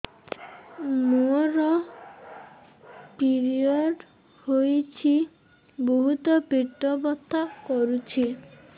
ମୋର ପିରିଅଡ଼ ହୋଇଛି ବହୁତ ପେଟ ବଥା କରୁଛି